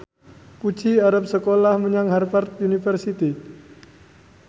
Puji arep sekolah menyang Harvard university